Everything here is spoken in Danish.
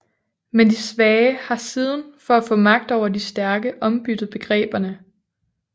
Men de svage har siden for at få magt over de stærke ombyttet begreberne